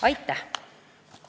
Aitäh!